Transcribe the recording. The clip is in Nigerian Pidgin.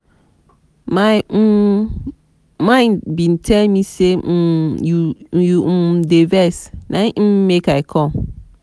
my um mind bin tell me sey um you um dey vex na im make i com.